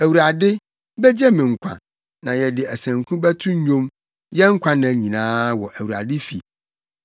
Awurade begye me nkwa, na yɛde asanku bɛto nnwom yɛn nkwanna nyinaa wɔ Awurade fi.